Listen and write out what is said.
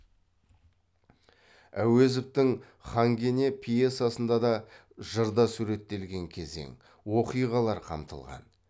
әуезовтің хан кене пьесасында да жырда суреттелген кезең оқиғалар қамтылған